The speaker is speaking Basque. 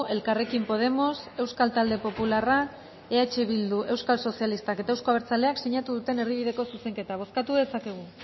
elkarrekin podemos euskal talde popularrak eh bilduk euskal sozialistak eta euzko abertzaleak sinatu duten erdibideko zuzenketa bozkatu dezakegu